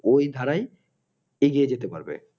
ওই ধারায় এগিয়ে যেতে পারবে